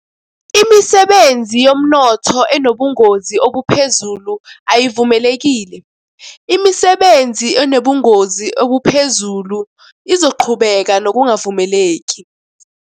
Imisebenzi yomnotho enobungozi obuphezulu ayivumelekile. Imisebenzi enobungozi obuphezulu izoqhubeka nokungavumeleki.